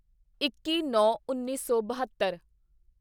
ਇੱਕੀਨੌਂਉੱਨੀ ਸੌ ਬਹੱਤਰ